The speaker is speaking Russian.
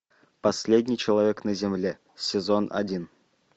последний человек на земле сезон один